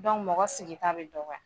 mɔgɔ sigi ta bi dɔgɔya